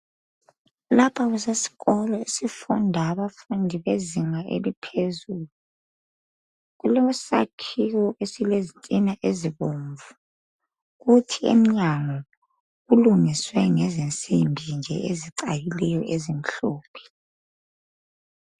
Lapha kusesikolo esifunda abafundi bezinga eliphezulu kulesakhiwo esilezitina ezibomvu kuthi emnyango kulungiswe ngezinsimbi nje ezicakileyo ezimhlophe